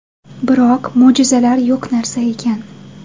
Biroq, mo‘jizalar yo‘q narsa ekan.